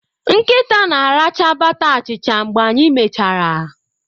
Nkịta na-aracha bata achicha mgbe anyị mechara.